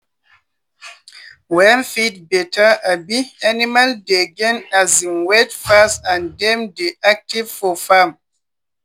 when feed better um animal dey gain um weight fast and dem dey active for farm.